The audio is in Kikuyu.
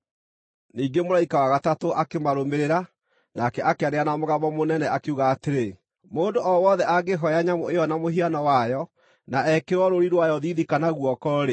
Ningĩ mũraika wa gatatũ akĩmarũmĩrĩra, nake akĩanĩrĩra na mũgambo mũnene, akiuga atĩrĩ, “Mũndũ o wothe angĩhooya nyamũ ĩyo na mũhiano wayo, na ekĩrwo rũũri rwayo thiithi kana guoko-rĩ,